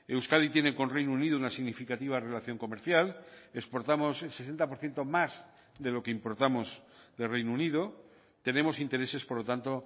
euskadi tiene con reino unido una significativa relación comercial exportamos el sesenta por ciento más de lo que importamos del reino unido tenemos intereses por lo tanto